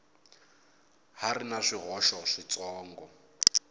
ha ri na swihoxo switsongo